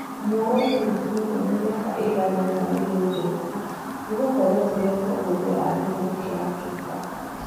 Muoroto witũ mũnene mĩaka ĩiganona irĩa ĩgũũka nĩ gũkorwo tũrĩ atongoria a gĩtarũ kĩa Afrika.